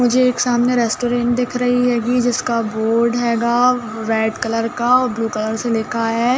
मुझे एक सामने रेस्टुरेंट दिख रही हेगी जिसका बोर्ड हेगा रेड कलर का और ब्लू कलर से लिखा है --